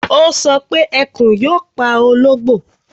Ó sọ pé Ẹkùn yóò pa ológbò